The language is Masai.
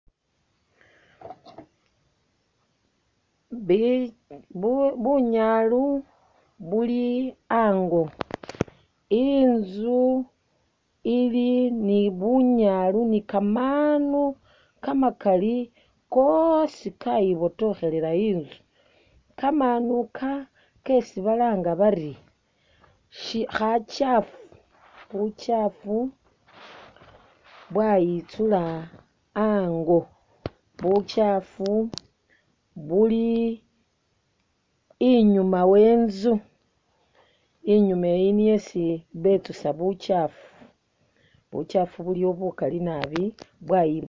Bi, bu bunyaalu buli ango, inzu ili ni bunyaalu ni kamaanu kamakali kosi kayibotokhelela inzu. Kamaanu ika kesi balanga bari shi kha kyaafu, bukyaafu bwayitsula ango. Bukyaafu buli inyuma we inzu, inyuma eyi niyo isi betsusa bukyaafu, bukyaafu buliyo bukali nabi.